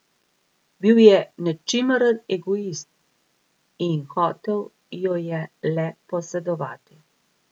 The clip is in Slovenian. Bil je nečimrn egoist in hotel jo je le posedovati.